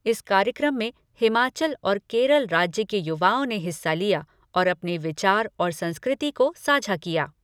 इस कार्यक्रम में हिमाचल और केरल राज्य के युवाओं ने हिस्सा लिया और अपने विचार और संस्कृति को साझा किया।